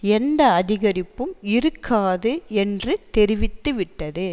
எந்த அதிகரிப்பும் இருக்காது என்று தெரிவித்து விட்டது